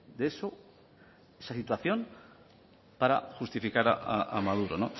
de eso de esa situación para justificar a maduro